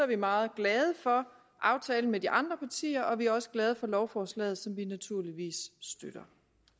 vi meget glade for aftalen med de andre partier og vi er også glade for lovforslaget som vi naturligvis støtter